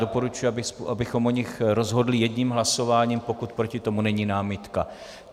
Doporučuji, abychom o nich rozhodli jedním hlasováním, pokud proti tomu není námitka.